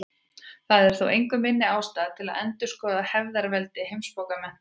Það er þó engu minni ástæða til að endurskoða hefðarveldi heimsbókmenntanna.